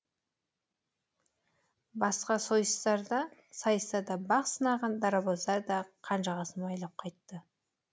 басқа сайыстарда бақ сынаған дарабоздар да қанжығасын майлап қайтты